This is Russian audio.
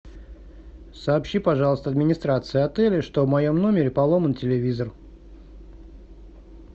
сообщи пожалуйста администрации отеля что в моем номере поломан телевизор